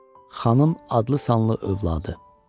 Xanım adlı sanlı övladı.